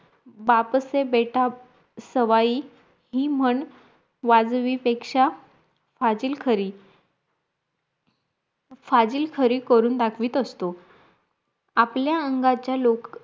बापसे बेटा सवायी हि म्हण वाजवी पेक्षा फाजील खरी फाजील खरी करून दाखवीत असतो आपल्या अंगाच्या लोक